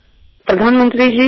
माननीय पंतप्रधान नमस्कार